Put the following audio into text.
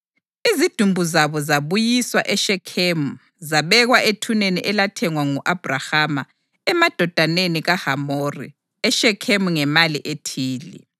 Izidumbu zabo zabuyiswa eShekhemu zabekwa ethuneni elathengwa ngu-Abhrahama emadodaneni kaHamori eShekhemu ngemali ethile.